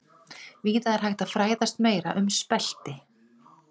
Víða er hægt að fræðast meira um spelti.